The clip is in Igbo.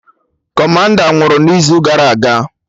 Kọmanda nwụrụ n'izu gara aga